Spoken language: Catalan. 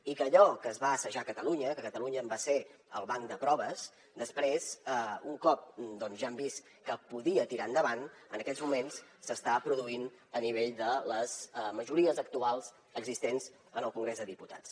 i que allò que es va assajar a catalunya que catalunya en va ser el banc de proves després un cop ja hem vist que podia tirar endavant en aquests moments s’està produint a nivell de les majories actuals existents en el congrés dels diputats